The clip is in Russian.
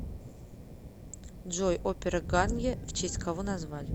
джой опера гарнье в честь кого назвали